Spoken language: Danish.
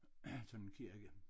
Sådan en kirke